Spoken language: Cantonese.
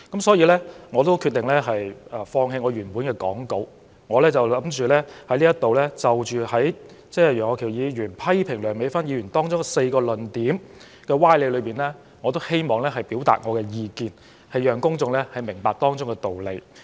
所以，我決定放棄原已預備的講稿，在此就楊岳橋議員批評梁美芬議員的發言中4個屬歪理的論點表達意見，讓公眾明白當中的道理。